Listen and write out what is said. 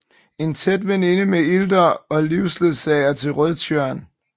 En tæt veninde med Ilder og livsledsager til Rødtjørn